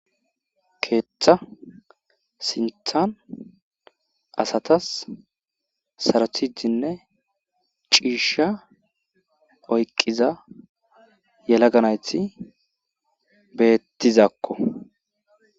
Keeththa sinththa asata sarotidinne ciisha oyqqiza yelaga nayti beetizakko.